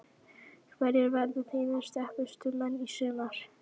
Hverjir verða þínir sterkustu menn í sumar?